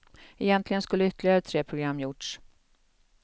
Egentligen skulle ytterligare tre program gjorts.